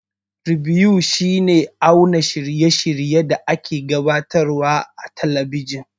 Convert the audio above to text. Ribew shi ne auna shirye shiryen da a ke gabatar wa a talabijan